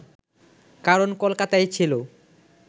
কারণ কলকাতাই ছিল